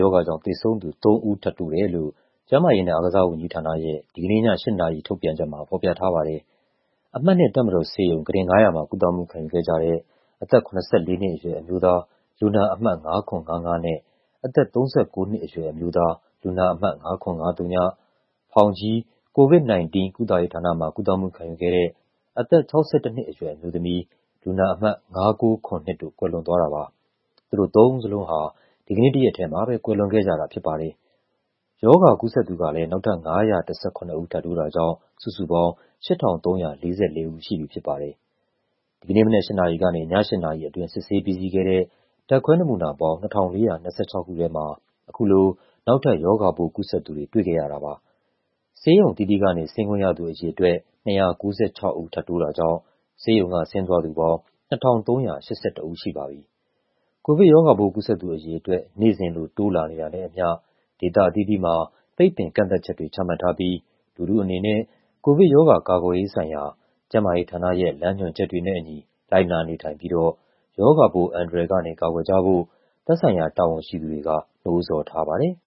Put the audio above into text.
ရောဂါကြောင့် သေဆုံးသူ ၃ ဦး ထပ်တိုးတယ်လို့ ကျန်းမာရေးနဲ့ အားကစားဝန်ကြီးဌာနရဲ့ ဒီကနေ့ည ၈ နာရီ ထုတ်ပြန်ချက်မှာ ဖော်ပြထားပါတယ်။ အမှတ် ၂ တပ်မတော်ဆေးရုံ၊ ကုတင် ၅၀၀ မှာ ကုသမှုခံယူခဲ့ကြတဲ့ အသက် ၇၄ နှစ်အရွယ် အမျိုးသား လူနာအမှတ် ၅၇၅၅ နဲ့ အသက် ၃၉ နှစ်အရွယ် အမျိုးသား လူနာအမှတ် ၅၇၅၀၊ ဖောင်ကြီး COVID-19 ကုသရေးဌာနမှာ ကုသမှုခံယူခဲ့တဲ့ အသက် ၆၁ နှစ်အရွယ် အမျိုးသမီး လူနာအမှတ် ၅၉၇၂ တို့ ကွယ်လွန်သွားတာပါ။ သူတို့သုံးဦးစလုံးဟာ ဒီကနေ့တရက်တည်းမှာပဲ ကွယ်လွန်ခဲ့ကြတာ ဖြစ်ပါတယ်။ ရောဂါကူးစက်သူကလည်း နောက်ထပ် ၅၁၇ ဦး ထပ်တိုးတာကြောင့် စုစုပေါင်း ၈,၃၄၄ ဦးရှိပြီ ဖြစ်ပါတယ်။ ဒီကနေ့မနက် ၈ နာရီကနေ ည ၈ နာရီအတွင်း စစ်ဆေးပြီးစီးခဲ့တဲ့ ဓာတ်ခွဲနမူနာပေါင်း ၂,၄၂၆ ခုထဲမှာ အခုလို နောက်ထပ် ရောဂါပိုးကူးစက်သူတွေ တွေ့ခဲ့ရတာပါ။ ဆေးရုံအသီးသီးကနေ ဆင်းခွင့်ရသူ အရေအတွက် ၂၉၆ ဦး ထပ်တိုးတာကြောင့် ဆေးရုံကဆင်းသွားသူပေါင်း ၂,၃၈၁ ဦးရှိပါပြီ။ ကိုဗစ်ရောဂါပိုး ကူးစက်သူအရေအတွက် နေ့စဉ်လို တိုးလာနေတာနဲ့အမျှ ဒေသအသီးသီးမှာ ပိတ်ပင်ကန့်သတ်ချက်တွေ ချမှတ်ထားပြီး လူထုအနေနဲ့ ကိုဗစ်ရောဂါ ကာကွယ်ရေးဆိုင်ရာ ကျန်းမာရေးဌာနရဲ့ လမ်းညွှန်ချက်တွေနဲ့အညီ လိုက်နာနေထိုင်ပြီးတော့ ရောဂါပိုးအန္တရာယ်ကနေ ကာကွယ်ကြဖို့ သက်ဆိုင်ရာ တာဝန်ရှိသူတွေက နှိုးဆော်ထားပါတယ်။